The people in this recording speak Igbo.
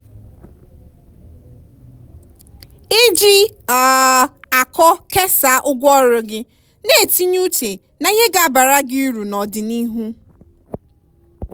iji um akọ kesaa ụgwọ ọrụ gị na-etinye uche na ihe ga-abara gị uru n'ọdịnihu.